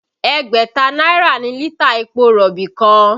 Ẹgbẹ̀ta náírà ni lítà epo rọ̀bì kan